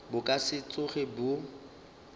bo ka se tsoge bo